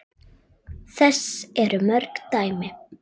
Þess eru mörg dæmi.